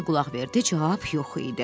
Bekki qulaq verdi, cavab yox idi.